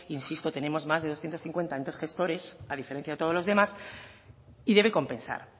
insisto tenemos más de doscientos cincuenta entes gestores a diferencia de todos los demás y debe compensar